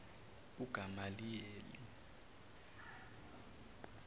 ugamaliyeli